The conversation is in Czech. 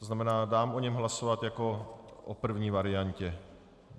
To znamená, dám o něm hlasovat jako o první variantě.